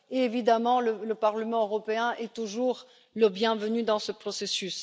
Évidemment, le Parlement européen est toujours le bienvenu dans ce processus.